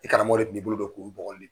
I karamɔgɔ de kun b'i bolo don k'olu bɔgɔ